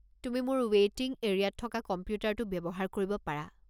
তুমি মোৰ ৱেইটিং এৰিয়াত থকা কম্পিউটাৰটো ব্যৱহাৰ কৰিব পাৰা।